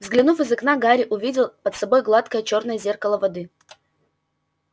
выглянув из окна гарри увидел под собой гладкое чёрное зеркало воды